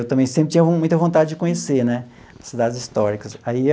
Eu também sempre tinha muita vontade de conhecer né cidades históricas aí.